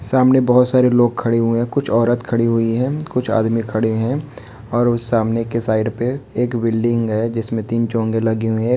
सामने बहुत सारे लोग खड़े हुए हैं। कुछ औरत खड़ी हुई है। कुछ आदमी खड़े हैं। और उस सामने के साइड पे एक बिल्डिंग है जिसमें तीन चोंगे लगी हुई है।